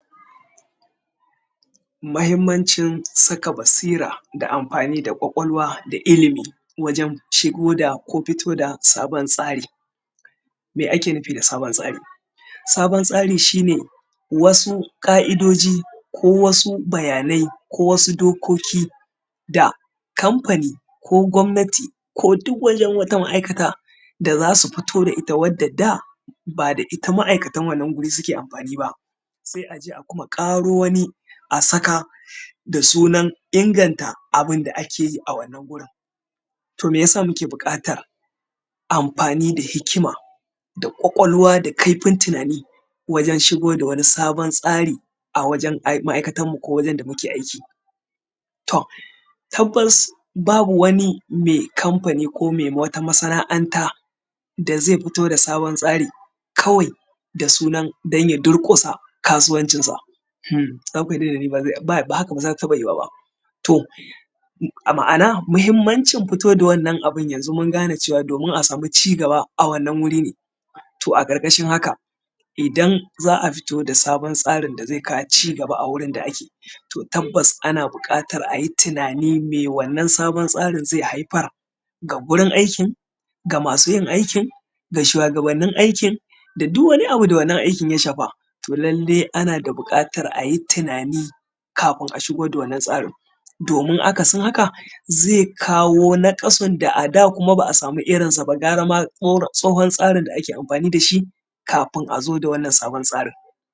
Mahimmancin saka basira da amfani da ƙwaƙwalwa da ilimi wajen shigo da ko fito da sabon tsari. Me ake nufi da sabon tsari? Sabon tsari shi ne wasu ƙa’idoji ko wasu bayanai ko wasu dokoki da kamfani ko gwamnati duk wajen wata ma’aikata da za su fito da ita wadda da ba da ita ma’aikatan wannan wuri suke amfani ba. Sai aje a kuma ƙaro wani a saka da sunan inganta abin da ake yi a wannan wurin. To meyasa muke buƙatar amfani da hikima da ƙwaƙwalwa da kaifin tunani wajen shigo da wani sabon tsari a wajen ma’aikatanmu ko wajen da muke aiki? To, tabbas babu wani mai kamfani, ko mai wata masana’anta da zai fito da sabon tsari, kawai da sunan dan ya durƙusa kasuwancin sa, uhmm, kamfanin nan dai ba, haka ba za ta taɓa yiwuwa ba. To, ma’ana, mahimmancin fito da wannan abin yanzu mun gane cewa domin a samu cigaba a wannan wuri ne. To, a ƙarƙashiin haka, idan za a fito da wannan sabon tsarin da zai kawo cigaba a wurin da ake, to, tabbas ana buƙatar a yi tunani me wannan sabon tsarin zai haifar, ga gurin aikin, ga masu yin aikin, ga shuwagabannin aikin da duk wani abu da wannan aikin ya shafa. To lallai ana da buƙatar a yi tunani kafin a shigo da wannan tsarin, domin akasin haka zai kawo naƙasun da a da kuma ba a samu irin sa ba gara ma tsohon tsarin da ake amfani da shi, kafin a zo da wannan sabon tsarin.